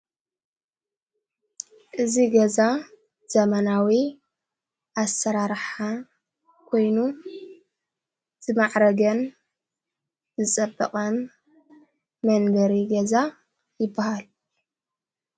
እዙይ ገዛ ዘመናዊ ኣሠራራሓ ኮይኑ ዝማዕረገን ዝጸበቐን መበገሪ ገዛ ይበሃል።